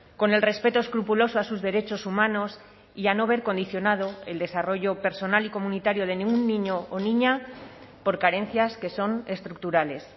con el respeto escrupuloso a sus derechos humanos y a no ver condicionado el desarrollo personal y comunitario de ningún niño o niña por carencias que son estructurales